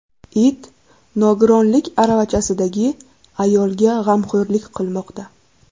It nogironlik aravachasidagi ayolga g‘amxo‘rlik qilmoqda.